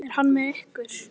Hún losar sig frá honum.